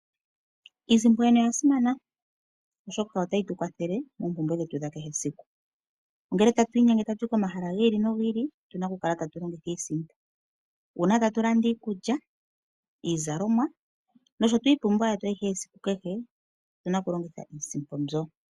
Iisimpo yoyene oyasimana oshoka otayi tukwathele noompumbwe dhetu, dhakehe esiku. Ngele atwiinyenge atuyi komahala giili no giili ohatu longitha iisimpo, uuna ngele tolanda iikulya, iizalomwa nosho woo iipumbiwa yetu yakehe siku, otuna okulongitha iisimpo.